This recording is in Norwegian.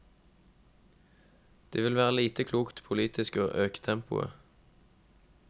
Det vil være lite klokt politisk å øke tempoet.